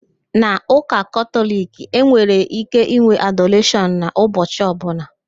N'ụka Katọliki, e nwere íké ịnwe adoreshọn n'ụbọchi ọbụla